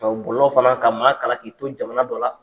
bulon fana ka maa kalan k'i to jamana dɔ la